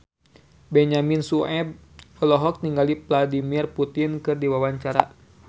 Benyamin Sueb olohok ningali Vladimir Putin keur diwawancara